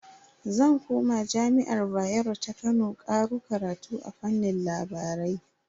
Zan koma jami'ar Bayero ta Kano karo karatu a fannin labarai.